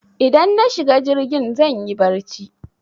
Idan na shiga jirgin zanyi barci